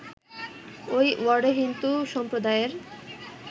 ওই ওয়ার্ডে হিন্দুসম্প্রদায়ের